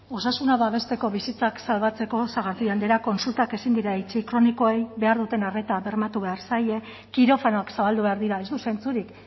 osasuna babesteko bizitzak salbatzeko sagardui andrea kontsultak ezin dira itxi kronikoei behar duten arreta bermatu behar zaie kirofanoak zabaldu behar dira ez du zentzurik